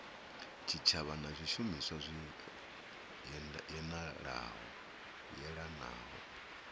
tshitshavha na zwishumiswa zwi yelanaho